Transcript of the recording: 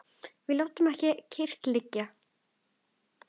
Við látum ekki kyrrt liggja.